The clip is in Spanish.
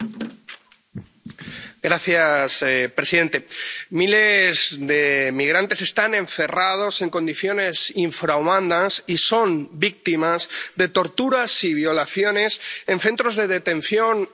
Señora presidenta, miles de migrantes están encerrados en condiciones infrahumanas y son víctimas de torturas y violaciones en centros de detención en Arabia Saudí.